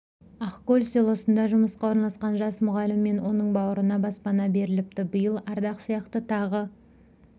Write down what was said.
ақкөл селосында жұмысқа орналасқан жас мұғалім мен оның бауырына баспана беріліпті биыл ардақ сияқты тағы